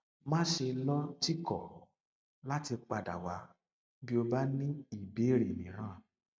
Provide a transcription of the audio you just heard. má ṣe lọtìkọ láti padà wá bí o bá ní ìbéèrè mìíràn